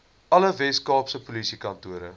alle weskaapse polisiekantore